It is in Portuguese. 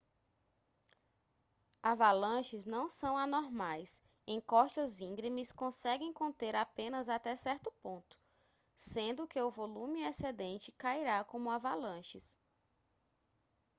avalanches não são anormais encostas íngremes conseguem conter apenas até certo ponto sendo que o volume excedente cairá como avalanches